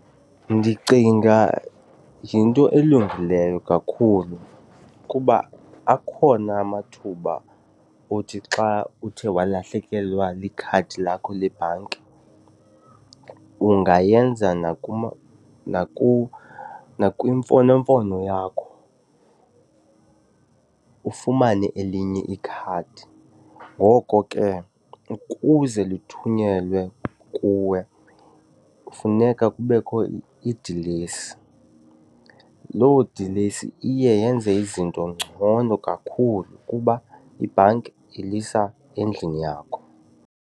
Ndicinga yinto elungileyo kakhulu kuba akhona amathuba othi xa uthe walahlekelwa likhadi lakho lebhanki ungayenza nakwimfonomfono yakho ufumane elinye ikhadi. Ngoko ke ukuze lithunyelwe kuwe kufuneka kubekho idilesi. Loo dilesi iye yenze izinto ngcono kakhulu kuba ibhanki ilisa endlini yakho.